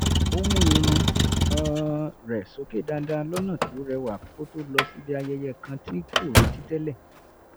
ó mú irun um rẹ̀ sókè dáadáa lọ́nà tó rẹwa kó tó lọ síbi ayẹyẹ kan tí kò retí tẹ́lẹ̀